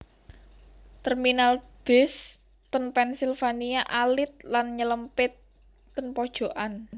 Terminal bis ten Pennsylvania alit lan nylempit ten pojokan